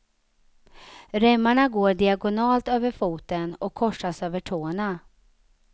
Remmarna går diagonalt över foten och korsas över tårna.